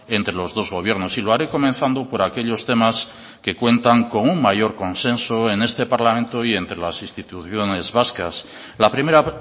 entre los dos gobiernos y lo haré comenzando por aquellos temas que cuentan con un mayor consenso en este parlamento y entre las instituciones vascas la primera